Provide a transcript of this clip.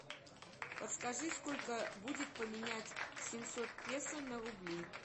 подскажи сколько будет поменять семьсот песо на рубли